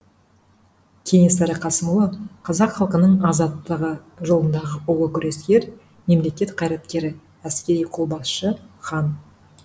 кенесары қасымұлы қазақ халқының азаттығы жолындағы ұлы күрескер мемлекет қайраткері әскери қолбасшы хан